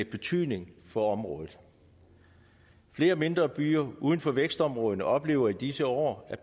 betydning for området flere mindre byer uden for vækstområderne oplever i disse år